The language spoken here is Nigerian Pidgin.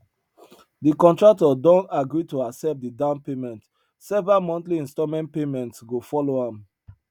de contractor don agree to accept de down payment several monthly installment payments go follow am